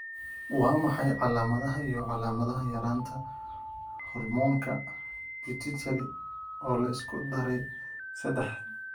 Waa maxay calaamadaha iyo calaamadaha yaraanta hormoonka Pituitary, oo la isku daray sadaxad?